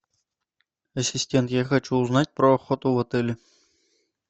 ассистент я хочу узнать про охоту в отеле